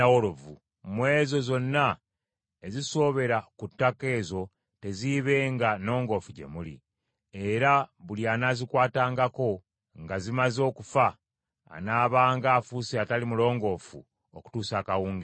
Mu ezo zonna ezisoobera ku ttaka ezo teziibenga nnongoofu gye muli. Era buli anaazikwatangako nga zimaze okufa anaabanga afuuse atali mulongoofu okutuusa akawungeezi.